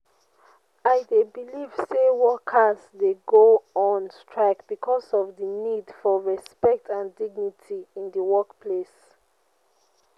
i dey believe say workers dey go on strike because of di need for respect and dignity in di workplace.